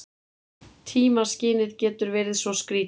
Tímaskynið getur verið svo skrýtið.